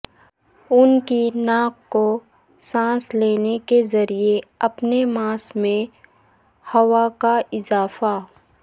ان کی ناک کو سانس لینے کے ذریعے اپنے ماسک میں ہوا کا اضافہ